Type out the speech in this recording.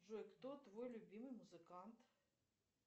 джой кто твой любимый музыкант